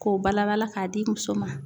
K'o bala bala k'a di muso ma